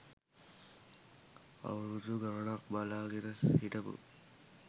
අවුරුදු ගණනක් බලා ගෙන හිටපු